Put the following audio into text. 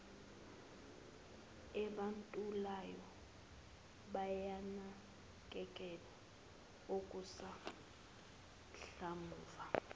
abentulayo bayanakekelwa okusanhlamvu